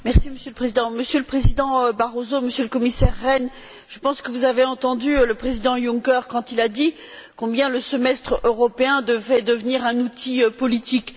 Monsieur le Président, Monsieur le Président Barroso, Monsieur le Commissaire Rehn, je pense que vous avez entendu le Président Juncker quand il a dit combien le semestre européen devait devenir un outil politique.